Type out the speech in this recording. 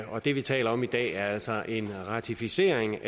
og det vi taler om i dag er altså en ratificering